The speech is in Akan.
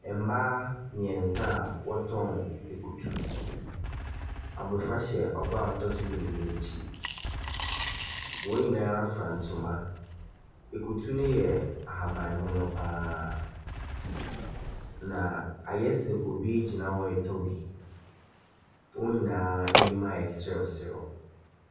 Mmaa mmiɛnsa a wɔɔn akutu. Abɔfra hyɛ ɔbaa a ɔtɔ so mmienu no akyi. Wɔn nyinaa fura ntoma. Akutu no yɛ ahaban mono pa ara na ayɛ sɛ obi gyina hɔ retɔ bi. Wɔn nyinaa anim ayɛ serew serew.